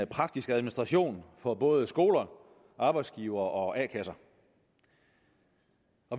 praktisk administration for både skoler arbejdsgivere og a kasser